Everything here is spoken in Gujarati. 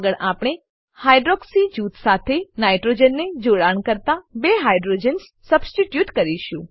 આગળ આપણે હાઇડ્રોક્સી જૂથ સાથે નાઇટ્રોજન ને જોડાણ કરતા બે હાઇડ્રોજન્સ સબસ્ટીટ્યુટ કરીશું